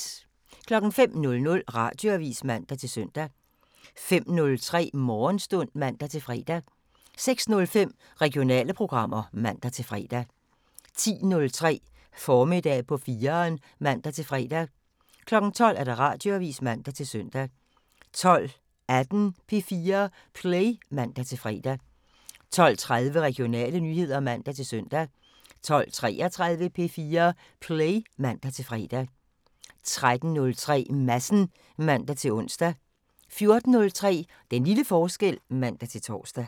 05:00: Radioavisen (man-søn) 05:03: Morgenstund (man-fre) 06:05: Regionale programmer (man-fre) 10:03: Formiddag på 4'eren (man-fre) 12:00: Radioavisen (man-søn) 12:18: P4 Play (man-fre) 12:30: Regionale nyheder (man-søn) 12:33: P4 Play (man-fre) 13:03: Madsen (man-ons) 14:03: Den lille forskel (man-tor)